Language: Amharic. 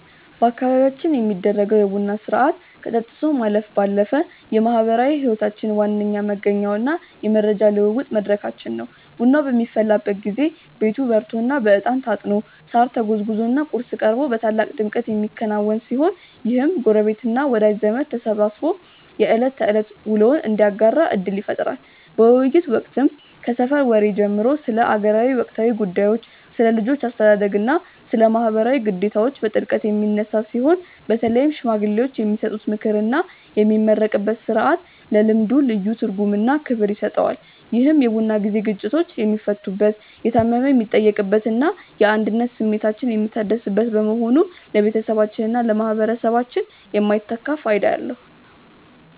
በአካባቢያችን የሚደረገው የቡና ሥርዓት ከጠጥቶ ማለፍ ባለፈ የማኅበራዊ ሕይወታችን ዋነኛ መገኛውና የመረጃ ልውውጥ መድረካችን ነው። ቡናው በሚፈላበት ጊዜ ቤቱ በሬቶና በዕጣን ታጥኖ፣ ሳር ተጎዝጉዞና ቁርስ ቀርቦ በታላቅ ድምቀት የሚከናወን ሲሆን፣ ይህም ጎረቤትና ወዳጅ ዘመድ ተሰባስቦ የዕለት ተዕለት ውሎውን እንዲያጋራ ዕድል ይፈጥራል። በውይይቶች ወቅትም ከሰፈር ወሬ ጀምሮ ስለ አገር ወቅታዊ ጉዳዮች፣ ስለ ልጆች አስተዳደግና ስለ ማኅበራዊ ግዴታዎች በጥልቀት የሚነሳ ሲሆን፣ በተለይም ሽማግሌዎች የሚሰጡት ምክርና የሚመረቅበት ሥርዓት ለልምዱ ልዩ ትርጉምና ክብር ይሰጠዋል። ይህ የቡና ጊዜ ግጭቶች የሚፈቱበት፣ የታመመ የሚጠየቅበትና የአንድነት ስሜታችን የሚታደስበት በመሆኑ ለቤተሰባችንና ለማኅበረሰባችን የማይተካ ፋይዳ አለው።